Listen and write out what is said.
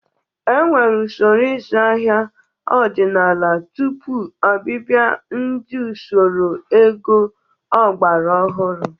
E nwere usoro ịzụ ahịa ọdịnala tupu ọbịbịa nke usoro ego ọgbara ọhụrụ.